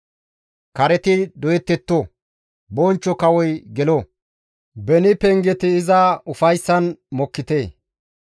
Kareti doyettetto; Bonchcho Kawoy gelo; beni pengeti iza ufayssan mokkite!